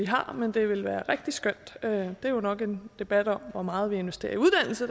har men det ville være rigtig skønt det er jo nok en debat om hvor meget vi investerer i uddannelse